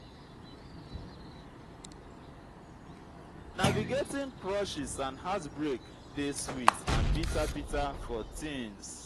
navigating crushes and heartbreak dey sweet and bitter bitter for teens.